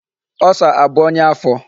Ulcer abụ onya afọ?